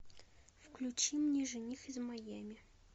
включи мне жених из майами